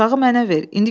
Uşağı mənə ver.